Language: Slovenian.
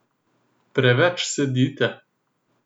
Preveč sedite.